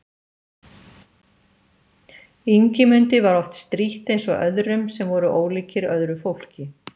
Ingimundi var oft strítt eins og öðrum sem voru ólíkir öðru fólki.